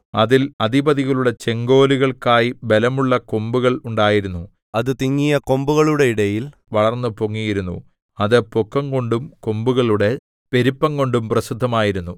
അതിൽ അധിപതികളുടെ ചെങ്കോലുകൾക്കായി ബലമുള്ള കൊമ്പുകൾ ഉണ്ടായിരുന്നു അത് തിങ്ങിയ കൊമ്പുകളുടെ ഇടയിൽ വളർന്നു പൊങ്ങിയിരുന്നു അത് പൊക്കംകൊണ്ടും കൊമ്പുകളുടെ പെരുപ്പംകൊണ്ടും പ്രസിദ്ധമായിരുന്നു